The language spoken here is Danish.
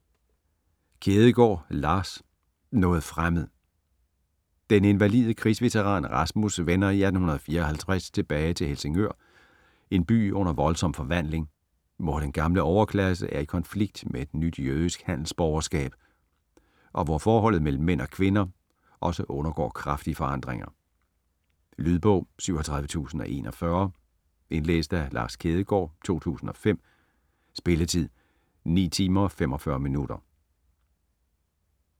Kjædegaard, Lars: Noget fremmed Den invalide krigsveteran Rasmus vender i 1864 tilbage til Helsingør, en by under voldsom forvandling, hvor den gamle overklasse er i konflikt med et nyt jødisk handelsborgerskab, og hvor forholdet mellem mænd og kvinder også undergår kraftige forandringer. Lydbog 37041 Indlæst af Lars Kjædegaard, 2005. Spilletid: 9 timer, 45 minutter.